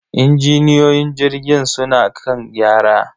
injiniyoyin jirgin suna kan gyara.